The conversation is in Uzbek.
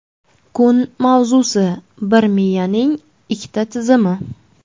Kun mavzusi: - Bir miyaning ikkita tizimi.